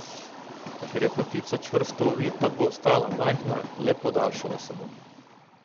Ker je potica čvrsto ovita, bo ostala majhna, le podaljšala se bo.